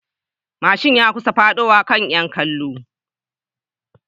Mashin ya kusa fadowa kan 'yan kallo